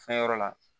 Fɛn yɔrɔ la